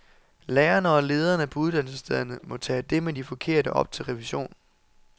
Lærerne og lederne på uddannelsesstederne må tage det med de forkerte op til revision.